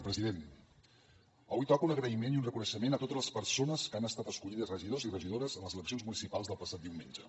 president avui toca un agraïment i un reconeixement a totes les persones que han estat escollides regidors i regidores en les eleccions municipals del passat diumenge